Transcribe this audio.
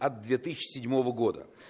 от две тысячи седьмого года